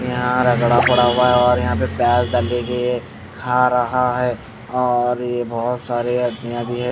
यहां रगड़ा पड़ा हुआ है और यहां पे प्याज दाली भी खा रहा है और ये बहुत सारे --